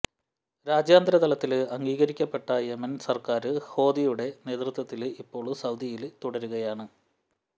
രാജ്യാന്തരതലത്തില് അംഗീകരിക്കപ്പെട്ട യെമന് സര്ക്കാര് ഹാദിയുടെ നേതൃത്വത്തില് ഇപ്പോള് സൌദിയില് തുടരുകയാണ്